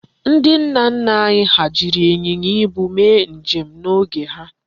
Ndị nna nna anyị ha jiri ịnyịnya ibu mee njem n'oge ha.